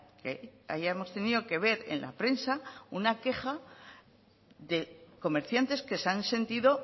que hayamos tenido que ver en la prensa una queja de comerciantes que se han sentido